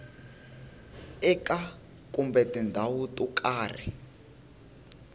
eka kumbe tindhawu to karhi